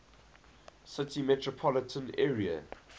city metropolitan area